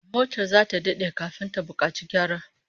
Motar zata dade kafin ta bukaci gyara